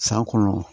San kɔnɔ